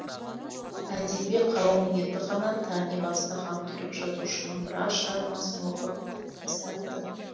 әдеби қауым енді ғана тани бастаған түрік жазушының біраз шығармасын оқып тастапты